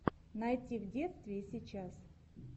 найти в детстве и сейчас